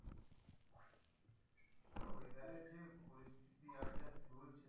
আর weather এর যে পরিস্থিতি আর যা চলছে,